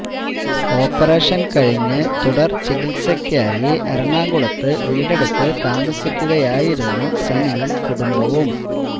ഓപ്പറേഷന് കഴിഞ്ഞ് തുടര് ചികിത്സക്കായി എറണാകുളത്ത് വീടെടുത്ത് താമസിക്കുകയായിരുന്നു സനിയും കുടുംബവും